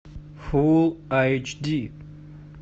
фул айч ди